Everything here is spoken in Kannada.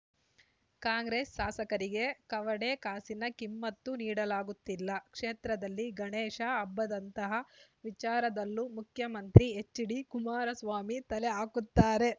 ಕಾಂಗ್ರೆಸ್‌ ಶಾಸಕರಿಗೆ ಕವಡೆ ಕಾಸಿನ ಕಿಮ್ಮತ್ತು ನೀಡಲಾಗುತ್ತಿಲ್ಲ ಕ್ಷೇತ್ರದಲ್ಲಿ ಗಣೇಶ ಹಬ್ಬದಂತಹ ವಿಚಾರದಲ್ಲೂ ಮುಖ್ಯಮಂತ್ರಿ ಎಚ್‌ಡಿ ಕುಮಾರಸ್ವಾಮಿ ತಲೆ ಹಾಕುತ್ತಾರೆ